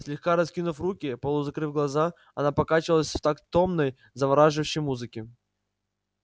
слегка раскинув руки полузакрыв глаза она покачивалась в такт томной завораживающей музыке